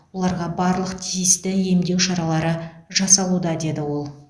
оларға барлық тиісті емдеу шаралары жасалуда деді ол